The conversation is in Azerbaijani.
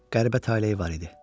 Qəribə taleyi var idi.